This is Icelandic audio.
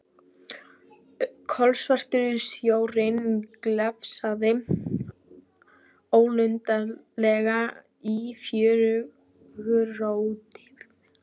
Kolsvartur sjórinn glefsaði ólundarlega í fjörugrjótið.